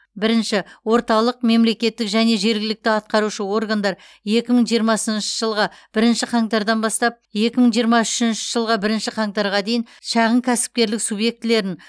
бірінші орталық мемлекеттік және жергілікті атқарушы органдар екі мың жиырмасыншы жылғы бірінші қаңтардан бастап екі мың жиырма үшінші жылғы бірінші қаңтарға дейін шағын кәсіпкерлік субъектілерін